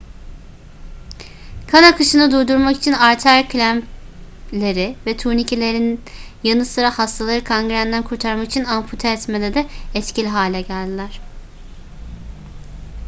kan akışını durdurmak için arter klempleri ve turnikelerin yanı sıra hastaları kangrenden kurtarmak için ampute etmede de etkili hale geldiler